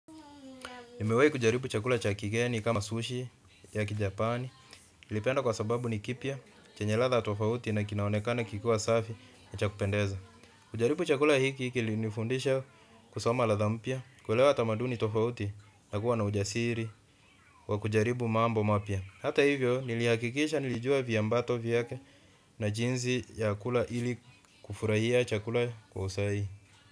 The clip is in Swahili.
Umewai kujaribu chakula cha kigeni kama sushi ya Japan, naipenda kwa sababu ni kipya na kenye ladha tofauti na kinaonekana kikiwa safi na cha kupendeza. Kujaribu chakula hiki hiki ili nifundisha kusoma ladha mpya, kuelewa tamaduni tofauti na kuwa na ujasiri wa kujaribu mambo mapya. Hata hivyo nilihakikisha nilijua vyambato vyote na jinsi ya kula ili kufurahia chakula kwa usahihi.